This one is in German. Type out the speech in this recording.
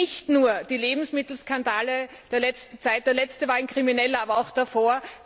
Das gilt nicht nur für die Lebensmittelskandale der letzten Zeit der letzte war ein krimineller, aber auch davor